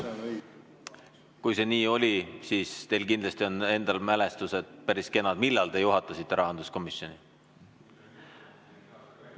Kui see nii oli, siis teil kindlasti on endal päris kenad mälestused ajast, millal te juhtisite rahanduskomisjoni.